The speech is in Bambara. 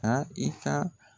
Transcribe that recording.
Ka i ka